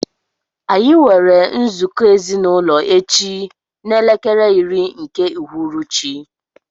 Anyi nwere nzụkọ ezinaụlọ echi na elekere iri nke ụhụrụchị.